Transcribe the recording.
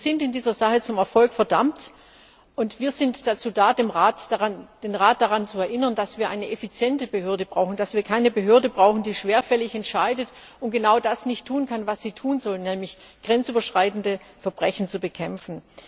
Wir sind in dieser Sache zum Erfolg verdammt, und wir sind dazu da, den Rat daran zu erinnern, dass wir eine effiziente Behörde brauchen, dass wir keine Behörde brauchen, die schwerfällig entscheidet und genau das nicht tun kann, was sie tun soll, nämlich grenzüberschreitende Verbrechen zu bekämpfen.